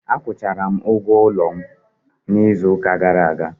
Akwụchara m ụgwọ ụlọ m n'izu ụka gara aga.